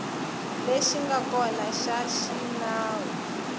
lexi nga kona xa xinawu